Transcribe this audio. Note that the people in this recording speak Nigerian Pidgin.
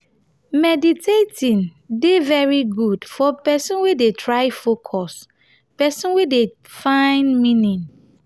maditating de very good for person wey dey try focus person wey dey find meaning